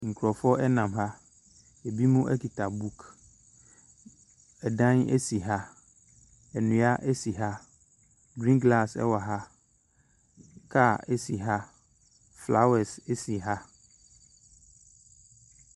Nkurɔfoɔ nam ha, ɛbinom kita book. Ɛdan si ha. Nnua si ha. Green grass wɔ ha. Car si ha, flowers si ha.